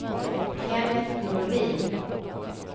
Kennet Norlin